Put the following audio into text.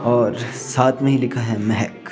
और साथ में ही लिखा है महेक।